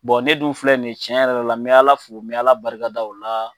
ne dun filɛ nin ye, tiɲɛ yɛrɛ la me Ala fo, me Ala barika da o la.